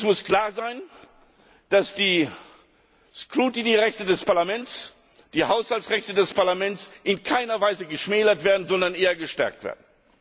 Es muss klar sein, dass die Scrutingrechte des Parlaments und die Haushaltsrechte des Parlaments in keiner Weise geschmälert, sondern eher gestärkt werden.